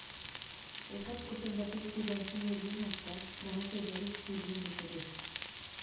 एकाच कुटुंबातील तिघांची निर्घृण हत्या, घराशेजारीच पुरले मृतदेह